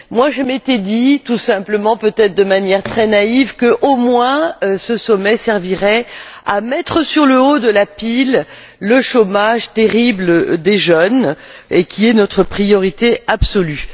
Je m'étais dit tout simplement, peut être de manière très naïve, que ce sommet servirait au moins à mettre sur le haut de la pile le chômage terrible des jeunes, qui est notre priorité absolue.